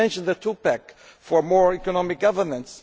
You mentioned the two pack for more economic governance.